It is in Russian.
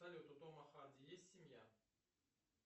салют у тома харди есть семья